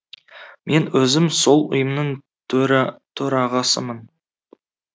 мен өзім сол ұйымның төрағасымын